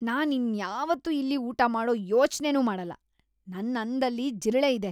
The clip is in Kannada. ನಾನ್ ಇನ್ಯಾವತ್ತೂ ಇಲ್ಲಿ ಊಟ ಮಾಡೋ ಯೋಚ್ನೆನೂ ಮಾಡಲ್ಲ, ನನ್ ಅನ್ನದಲ್ಲಿ ಜಿರಳೆ ಇದೆ!